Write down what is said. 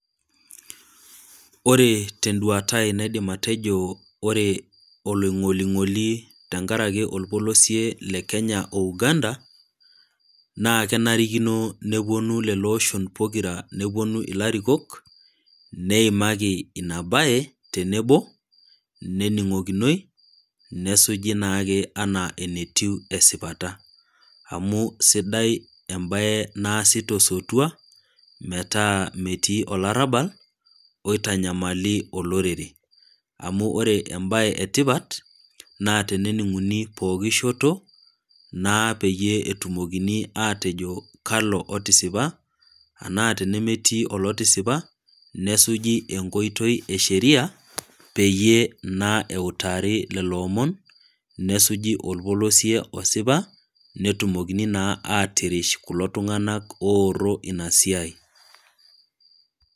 Ore tenduatai naidim atejo oree, oloing'oling'oli tenkaraki olpolosio le Kenya o Uganda, naa kenarikino nepuonu lelo oshon pokira newuonu ilarikok, neimaki ina baye tenebo, nening'okinoi, nesuji naake anaa enetiu esipata. Amu sidai embae naasi tosotua, metaa metii olarabal, oitanyamali olorere. Amu ore embae e tipat, naa tenening'uni ppooki shoto, naa peyie etumokini aatejo kalo otisipa, anaa tenemetii olotisipa, nesuji enkoitoi e sheria, peyie naa eutaari lelo omon, nesuji olpolosie osipa, netumokini naa atirish kulo tung'ana ooro ina siai.